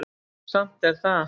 Samt er það